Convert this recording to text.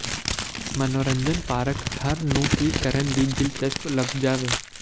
ਮਨੋਰੰਜਨ ਪਾਰਕ ਹਰ ਨੂੰ ਕੀ ਕਰਨ ਦੀ ਦਿਲਚਸਪ ਲੱਭ ਜਾਵੇਗਾ